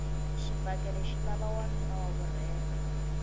xibakele xi lava nwanuna wa vurhena